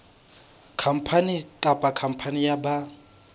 khampani kapa khampani ya ba